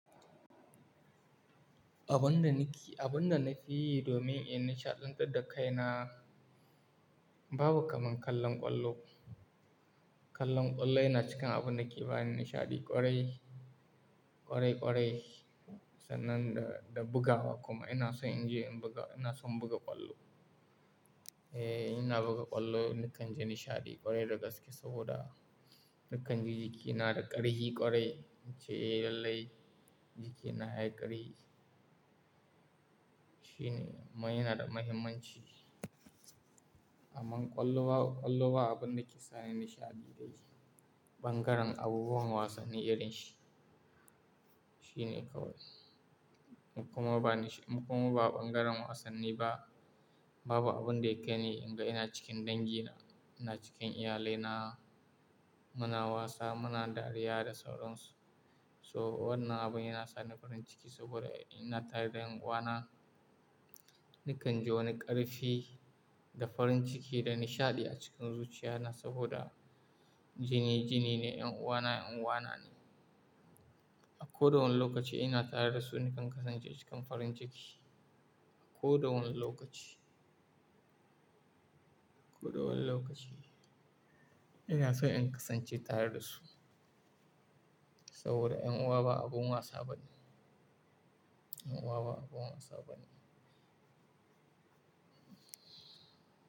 Abin da nake, abin da na fi yi domin in nishaɗantar da kai na, babu kamar kallon ƙwallo. Kallon ƙwallo yana cikin abun da ke bani nishaɗi ƙwarai, ƙwarai ƙwarai. Sanan da, da bugawa kuma ina so in je in buga, ina son buga ƙwallo. Eh, ina buga ƙwallo nakan ji nishaɗi ƙwarai dagaske saboda nakan ji jiki na da ƙarhi ƙwarai. Nice eh lallai jiki na yayi ƙarhi. Shine ma yana da mahimmanci. Amman ƙwallow, ƙwallow ba abun da ke sani nishaɗi dai bangaren abubuwan wasanni irin shi. Shine kawai. Kuma ba nisha, in kuma ba ɓangaren wasanni ba. Babu abun da ya ƙai ni in ga ina cikin dangi na ina cikin iyalai na muna wasa muna dariya da sauran su. So wannan abun yana sani farin ciki saboda in ina tare da ƴan uwa na. Nakan ji wani ƙarfi da farin ciki da nishaɗi a cikin zuciya na saboda jini jini ne, ƴan uwa na ƴan uwa na ne. A ko da wane lokaci ina tare da su nakan kasance cikin farin ciki. A ko da wane lokaci. Ko da wane lokaci ina so in kasance tare da su. Saboda ƴan uwa ba abun wasa bane. Ƴan uwa ba abun wasa bane.